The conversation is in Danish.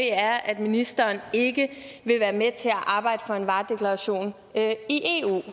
er at ministeren ikke vil være med til at arbejde for en varedeklaration i eu